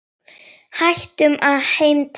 Hættum að heimta!